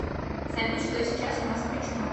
салют что сейчас у нас включено